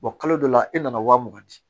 kalo dɔ la e nana wa mugan di